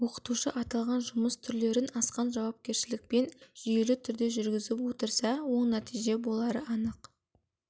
оқытушы аталған жұмыс түрлерін асқан жауапкершілікпен жүйелі түрде жүргізіп отырса оң нәтиже болары анық